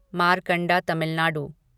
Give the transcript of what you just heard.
Markanda Tamil Nadu